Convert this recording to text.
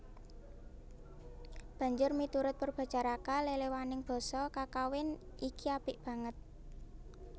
Banjur miturut Poerbatjaraka leléwaning basa kakawin iki apik banget